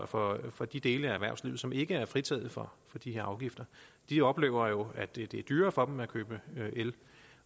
for for de dele af erhvervslivet som ikke er fritaget for de her afgifter de oplever at det er dyrere for dem at købe el